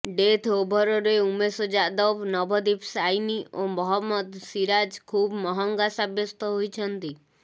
death ଓଭରରେ ଉମେଶ ଯାଦବ ନଭଦୀପ ସାଇନି ଓ ମହମ୍ମଦ ସିରାଜ ଖୁବ୍ ମହଙ୍ଗା ସାବ୍ୟସ୍ତ ହୋଇଛନ୍ତି